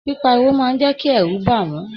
Pipariwo máa n jẹ kí ẹrú bá wọn.